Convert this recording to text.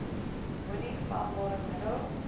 moenie vlambare middels